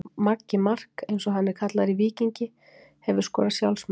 Maggi Mark eins og hann er kallaður í Víking Hefurðu skorað sjálfsmark?